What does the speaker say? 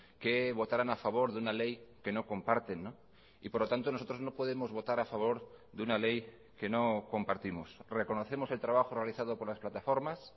que votaran a favor de una ley que no comparten y por lo tanto nosotros no podemos votar a favor de una ley que no compartimos reconocemos el trabajo realizado por las plataformas